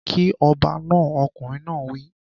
Kí ọba náà!! Ọkùnrin náà wí.